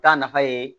Taa nafa ye